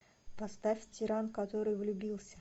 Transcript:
поставь тиран который влюбился